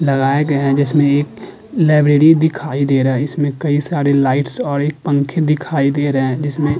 लगाए गए हैं जिसमें एक लाइब्रेरी दिखाई दे रहा है इसमें कई सारे लाइट्स और एक पंखे दिखाई दे रहे हैं जिसमें --